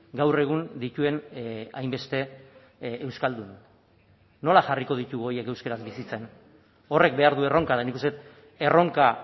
gaur egun dituen hainbeste euskaldun nola jarriko ditugu horiek euskaraz bizitzen horrek behar du erronka eta nik uste dut erronka